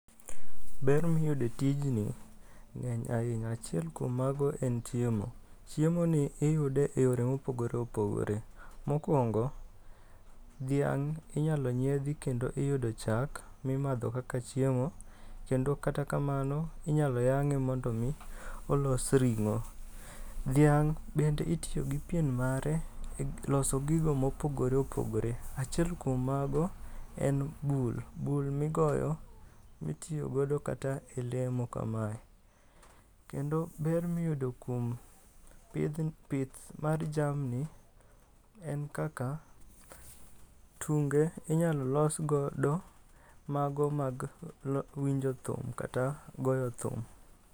Ber miyude tijni, nge'ny ahinya achiel kuom mago en chiemo, chiemoni iyude e yore ma opogore opogore, mokuongo thiang' inyalo nyiethi kendo iyudo chak mimatho kaka chiemo, kendo kata kamano inyalo yange' mondo mi olos ringo,' thiang bende itiyo gi pien mare e loso gigo mo opogore opogore, achiel kuom mago en bul, bul migoyo mitiyogodo kata e lemo kamae, kendo ber miyudo kuom pith mar jamni en kaka tunge' inyalo losgodo mago mag winjo thum kata goyo thum.